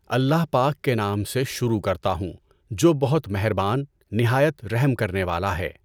اللہ پاک کے نام سے شروع کرتا ہوں جو بہت مہربان، نہایت رحم کرنے والا ہے۔